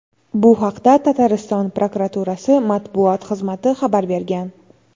Bu haqda Tatariston prokuraturasi matbuot xizmati xabar bergan.